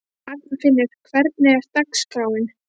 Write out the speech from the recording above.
Arnfinnur, hvernig er dagskráin?